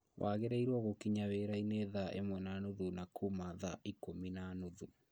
Wagĩirĩrwo gũkinya wĩrainĩ thaa ĩmwe na nuthu na kuma thaa ikũmi na nuthu